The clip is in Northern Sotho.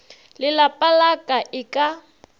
lelapa la ka e ka